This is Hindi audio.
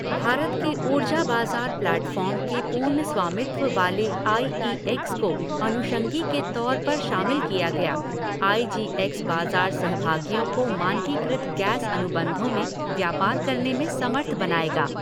भारत के ऊर्जा बाज़ार प्लैटफ़ॉर्म के पूर्ण स्वामित्व वाले आई ई एक्स को अनुषंगी के तौर पर शामिल किया गया, आई जी एक्स बाजार सहभागियों को मानकीकृत गैस अनुबंधों में व्यापार करने में समर्थ बनाएगा।